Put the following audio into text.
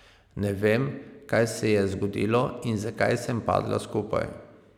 Ne vem, kaj se je zgodilo in zakaj sem padla skupaj.